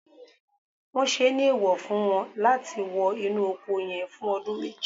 won se ni eewo fun won lati wo inu oko yen fun odun meji